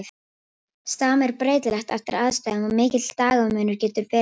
Stam er breytilegt eftir aðstæðum og mikill dagamunur getur verið á fólki.